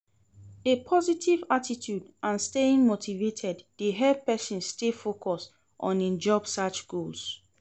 A positive attitude and staying motivated dey help person stay focused on im job search goals.